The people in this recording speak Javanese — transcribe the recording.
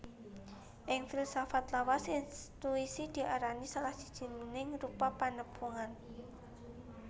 Ing filsafat lawas intuisi diarani salah sijining rupa panepungan